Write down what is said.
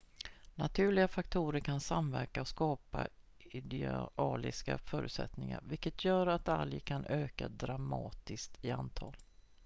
naturliga faktorer kan samverka och skapa idealiska förutsättningar vilket gör att algerna kan öka dramatiskt i antal